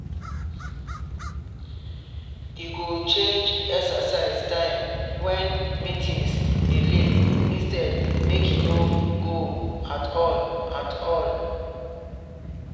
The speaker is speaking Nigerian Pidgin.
e go change exercise time when meetings dey late instead make e no go at all at all